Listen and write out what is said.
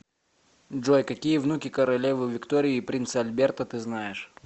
джой какие внуки королевы виктории и принца альберта ты знаешь